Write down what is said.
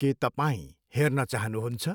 के तपाईँ हेर्न चाहनुहुन्छ?